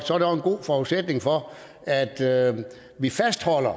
så er der en god forudsætning for at vi fastholder